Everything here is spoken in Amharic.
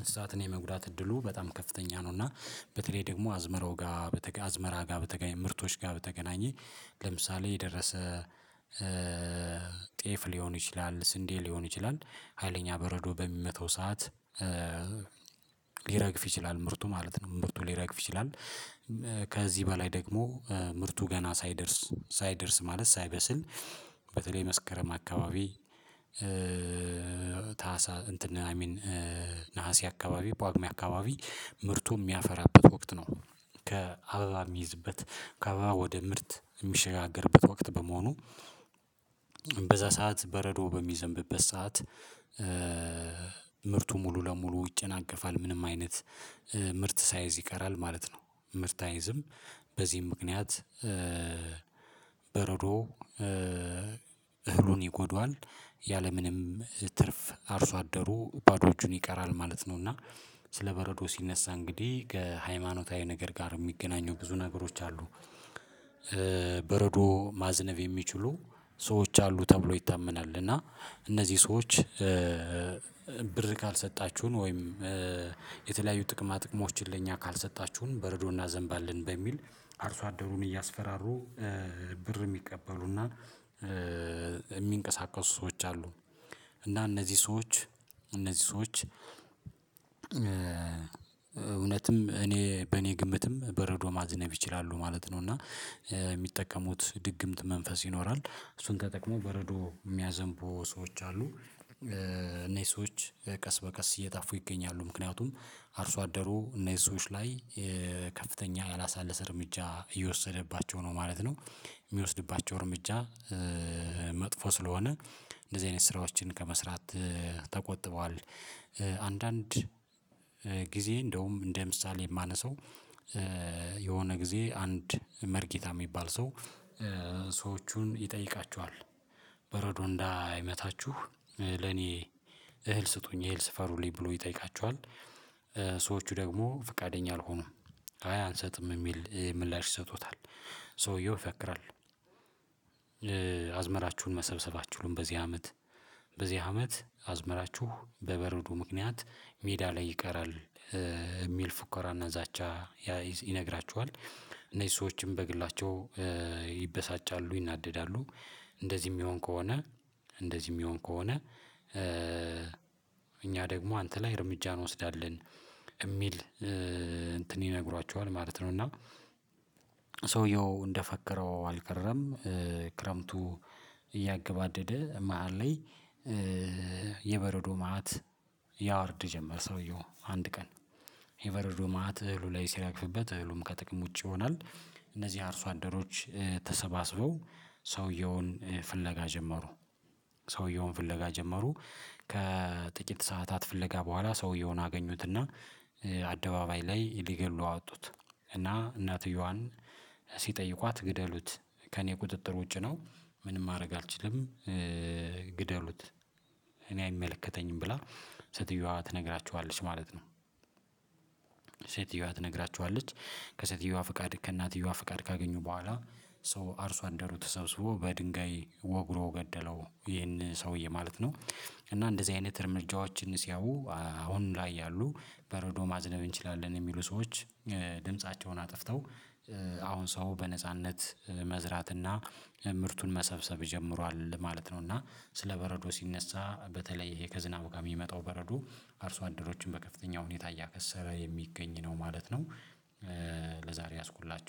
እንስሳትን የመጉዳት እድሉ በጣም ከፍተኛ ነው። እና በተለይ ደግሞ አዝመራው ጋ በተገ አዝመራ ጋር በተገኘ ምርቶች ጋር በተገናኘ ለምሳሌ የደረሰ ጤፍ ሊሆን ይችላል ስንዴ ሊሆን ይችላል ሀይለኛ በረዶ በሚመታው ሰዓት። ሊረግፍ ይችላል ምርቱ ማለት ነው ምርቱ ሊረግፍ ይችላል። ከዚህ በላይ ደግሞ ምርቱ ገና ሳይደርስ ሳይደርስ ማለት ሳይበስል በተለይ መስከረም አካባቢ። ታህሳ እንትን አይሚን ነሀሴ አካባቢ ጳጉሜ አካባቢ ምርቱ ሚያፈራበት ወቅት ነው። ከአበባ ሚይዝበት ከአበባ ወደ ምርት ሚሸጋገርበት ወቅት በመሆኑ። በዛ ሰዓት በረዶ በሚዘንብበት ሰዓት ምርቱ ሙሉ ለሙሉ ይጨናገፋል ምንም አይነት ምርት ሳይዝ ይቀራል ማለት ነው። ምርት አይዝም በዚህም ምክንያት። በረዶ እህሉን ይጎዳዋል ያለምንም ትርፍ አርሶ አደሩ ባዶ እጁን ይቀራል ማለት ነው። እና ስለ በረዶ ሲነሳ እንግዲህ ከሃይማኖታዊ ነገር ጋር እሚገናኙ ብዙ ነገሮች አሉ። በረዶ ማዝነብ የሚችሉ ሰዎች አሉ ተብሎ ይታመናል። እና እነዚህ ሰዎች ብር ካልሰጣችሁን ወይም የተለያዩ ጥቅማ ጥቅሞችን ለእኛ ካልሰጣችሁን በረዶ እናዘንባለን በሚል አርሶ አደሩን እያስፈራሩ ብር እሚቀበሉና እሚንቀሳቀሱ ሰዎች አሉ። እና እነዚህ ሰዎች እነዚህ ሰዎች እውነትም እኔ በእኔ ግምትም በረዶ ማዝነብ ይችላሉ ማለት ነው። እና እሚጠቀሙት ድግምት መንፈስ ይኖራል እሱን ተጠቅሞ በረዶ ሚያዘንቡ ሰዎች አሉ። እነሂ ሰዎች ቀስ በቀስ እየጠፉ ይገኛሉ ምክንያቱም አርሶ አደሩ እነሂ ሰዎች ላይ ከፍተኛ ያላሳለሰ እርምጃ እየወሰደባቸው ነው ማለት ነው። ሚወስድባቸው እርምጃ መጥፎ ስለሆነ እንደዚህ አይነት ስራዎችን ከመስራት ተቆጥበዋል። አንዳንድ ጊዜ እንደውም እንደ ምሳሌ ማነሳው የሆነ ጊዜ አንድ መርጌታ እሚባል ሰው ሰዎቹን ይጠይቃችኋል። በረዶ እንዳይመታችሁ ለኔ እህል ስጡኝ እህል ስፈሩልኝ ብሎ ይጠይቃችኋል። ሰዎቹ ደግሞ ፍቃደኛ አልሆኑም አይ አንሰጥም እሚል ምላሽ ይሰጡታል። ሰውየው ፈክራል አዝመራችሁን መሰብሰብ አትችሉም በዚህ አመት በዚህ አመት አዝመራችሁ በበረዶ ምክንያት ሜዳ ላይ ይቀራል እሚል ፉከራ እና ዛቻ ይነግራችኋል። እነዚህ ሰዎችም በግላቸው ይበሳጫሉ ይናደዳሉ። እንደዚህ እሚሆን ከሆነ እንደዚህ እሚሆን ከሆነ። እኛ ደግሞ አንተ ላይ እርምጃ እንወስዳለን እሚል እንትን ይነግሯችኋል ማለት ነው። እና ሰውየው እንደፈከረው አልቀረም። ክረምቱ እያገባደደ መሃል ላይ የበረዶ መአት ያወርድ ጀመር። ሰውየው አንድ ቀን የበረዶ መአት እህሉ ላይ ሲረግፍበት እህሉም ከጥቅም ውጪ ይሆናል። እነዚህ አርሶ አደሮች ተሰባስበው ሰውየውን ፍለጋ ጀመሩ። ሰውየውን ፍለጋ ጀመሩ። ከጥቂት ሰዓታት ፍለጋ በኋላ ሰውየውን አገኙትና አደባባይ ላይ ሊገድሉ አወጡት። እና እናትየዋን ሲጠይቋት ግደሉት ከእኔ ቁጥጥር ውጪ ነው። ምንም ማረግ አልችልም። ግደሉት እኔ አይመለከተኝም ብላ ሴትየዋ ትነግራቸኋለች ማለት ነው። ሴትየዋ ትነግራችኋለች። ከሴትየዋ ፍቃድ ከእናትየዋ ፍቃድ ካገኙ በኋላ ሶ አርሶ አደሩ ተሰብስቦ በድንጋይ ወግሮ ገደለው ይሄን ሰውዬ ማለት ነው። እና እንደዚህ አይነት እርምጃዎችን ሲያዩ አሁን ላይ ያሉ በረዶ ማዝነብ እንችላለን እሚሉ ሰዎች ድምፃቸውን አጥፍተው አሁን ሰው በነጻነት መዝራትና ምርቱን መሰብሰብ ጀምሯል ማለት ነው። እና ስለ በረዶ ሲነሳ በተለይ ይሄ ከዝናብ ጋር ሚመጣው በረዶ አርሶ አደሮችን በከፍተኛ ሁኔታ እያከሰረ የሚገኝ ነው ማለት ነው። ለዛሬ የያዝኩላችሁ